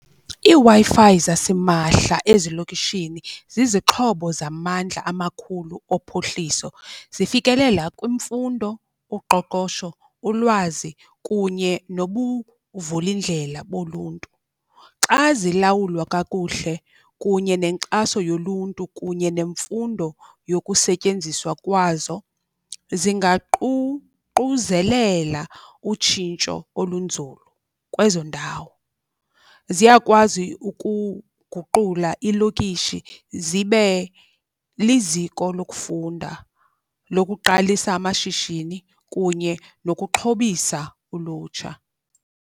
IiWi-Fi zasimahla ezilokishini zizixhobo zamandla amakhulu ophuhliso. Zifikelela kwimfundo, uqoqosho, ulwazi kunye nobuvula indlela boluntu. Xa zilawulwa kakuhle kunye nenkxaso yoluntu kunye nemfundo yokusetyenziswa kwazo, zingaququzelela utshintsho olunzulu kwezo ndawo. Ziyakwazi ukuguqula iilokishi zibe liziko lokufunda, lokuqalisa amashishini kunye nokuxhobisa ulutsha.